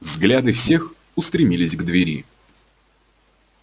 взгляды всех устремились к двери